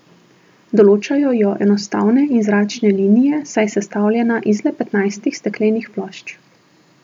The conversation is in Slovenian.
Določajo jo enostavne in zračne linije, saj je sestavljena iz le petnajstih steklenih plošč.